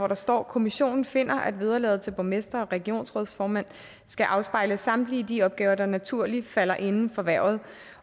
der står kommissionen finder at vederlaget til borgmestre og regionsrådsformænd skal afspejle samtlige de opgaver der naturligt falder inden for hvervet